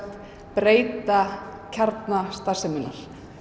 breyta kjarna starfseminnar